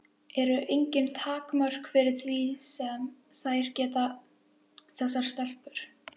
Eru engin takmörk fyrir því sem þær geta, þessar stelpur?